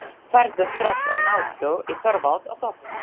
Farðu strax og náðu í Þorvald og Sophus.